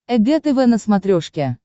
эг тв на смотрешке